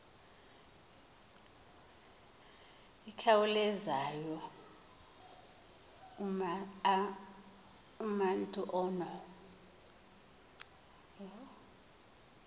ikhawulezayo umatu ono